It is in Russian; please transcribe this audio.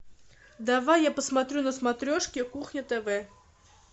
давай я посмотрю на смотрешке кухня тв